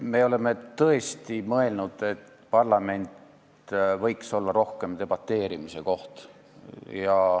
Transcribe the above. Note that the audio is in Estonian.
Me oleme tõesti mõelnud, et parlament võiks olla rohkem debateerimise koht.